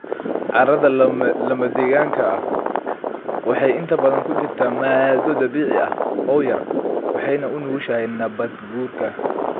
Carrada lamadegaanka ah waxay inta badan ku jirtaa maaddo dabiici ah oo yar waxayna u nugushahay nabaadguurka.